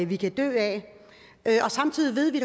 vi kan dø af samtidig ved vi